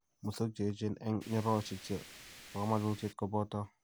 musogik che eecheen eng' nyororosyek che po kamanuutyet koboto: